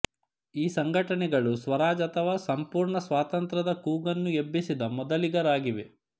ಈ ಸಂಘಟನೆಗಳು ಸ್ವರಾಜ್ ಅಥವಾ ಸಂಪೂರ್ಣ ಸ್ವಾತಂತ್ರ್ಯದ ಕೂಗನ್ನು ಎಬ್ಬಿಸಿದ ಮೊದಲಿಗರಾಗಿವೆ